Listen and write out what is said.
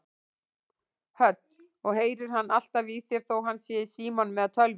Hödd: Og heyrir hann alltaf í þér þó hann sé í símanum eða tölvunni?